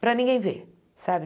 para ninguém ver, sabe?